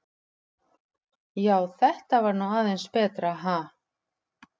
Já, þetta var nú aðeins betra, ha!